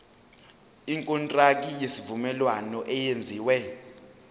ikontraki yesivumelwano eyenziwe